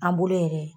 An bolo yɛrɛ